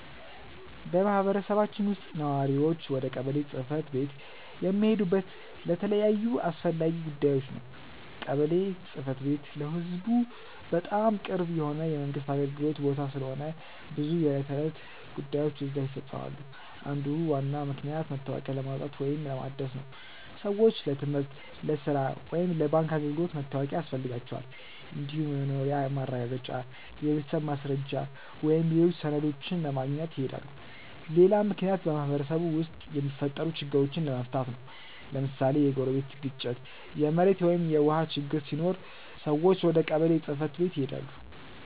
በማህበረሰባችን ውስጥ ነዋሪዎች ወደ ቀበሌ ጽ/ቤት የሚሄዱት ለተለያዩ አስፈላጊ ጉዳዮች ነው። ቀበሌ ጽ/ቤት ለህዝቡ በጣም ቅርብ የሆነ የመንግስት አገልግሎት ቦታ ስለሆነ ብዙ የዕለት ተዕለት ጉዳዮች እዚያ ይፈፀማሉ። አንዱ ዋና ምክንያት መታወቂያ ለማውጣት ወይም ለማደስ ነው። ሰዎች ለትምህርት፣ ለሥራ ወይም ለባንክ አገልግሎት መታወቂያ ያስፈልጋቸዋል። እንዲሁም የመኖሪያ ማረጋገጫ፣ የቤተሰብ ማስረጃ ወይም ሌሎች ሰነዶችን ለማግኘት ይሄዳሉ። ሌላ ምክንያት በማህበረሰቡ ውስጥ የሚፈጠሩ ችግሮችን ለመፍታት ነው። ለምሳሌ የጎረቤት ግጭት፣ የመሬት ወይም የውሃ ችግር ሲኖር ሰዎች ወደ ቀበሌ ጽ/ቤት ይሄዳሉ።